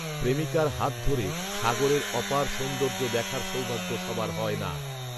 প্রেমিকার হাত ধরে সাগরের অপার সৌন্দর্য দেখার সৌভাগ্য সবার হয় না